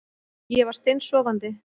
Ég var steinsofandi